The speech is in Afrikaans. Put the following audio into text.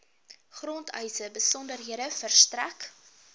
grondeise besonderhede verstrek